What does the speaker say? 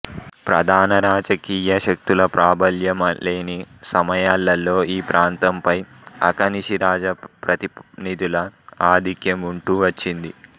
ప్రధాన రాజకీయ శక్తుల ప్రాబల్యం లేని సమయాలలో ఈ ప్రాంతంపై అక నిషి రాజప్రతినిధుల ఆధిక్యం ఉంటూ వచ్చింది